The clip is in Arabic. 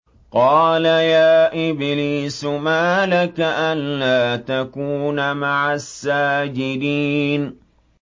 قَالَ يَا إِبْلِيسُ مَا لَكَ أَلَّا تَكُونَ مَعَ السَّاجِدِينَ